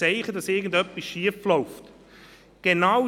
Wer hat nicht schon von Burnouts von Kaderleuten gehört?